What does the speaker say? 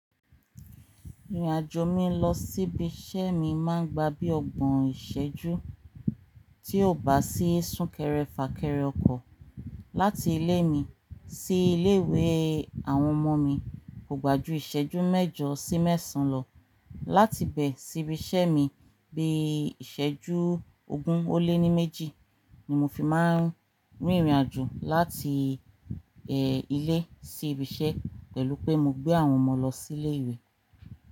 Ìrìnàjò mi lọ sí ibi iṣẹ́ mi máa ń gba bí ọgbọ̀n ìṣẹ́jú tí ò bá sí sún kẹrẹ fà kẹrẹ ọkọ̀. Láti ilé mi sí ilé ìwé àwọn ọmọ mi kò gbà ju ìṣẹ́jú mẹ́jọ sí mẹ́sàn án lọ. Láti ibẹ̀ sí ibi iṣẹ́ mi bí ìṣẹ́jú ogún ó lé ní méjì ni mo fi máa ń rìnrìnàjò láti, ẹ, ilé sí ibi iṣẹ́ pẹ̀lú pé mo gbé àwọn ọmọ lọ sí ilé ìwé.